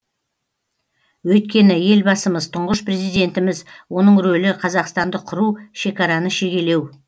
өйткені елбасымыз тұңғыш президентіміз оның ролі қазақстанды құру шекараны шегелеу